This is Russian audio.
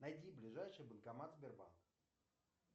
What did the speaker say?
найди ближайший банкомат сбербанк